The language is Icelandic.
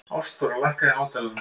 Ástþóra, lækkaðu í hátalaranum.